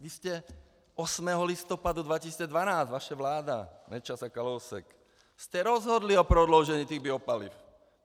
Vy jste 8. listopadu 2012 - vaše vláda Nečas a Kalousek - jste rozhodli o prodloužení těch biopaliv.